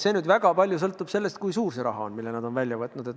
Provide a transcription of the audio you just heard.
See sõltub väga palju sellest, kui suur kellegi summa on.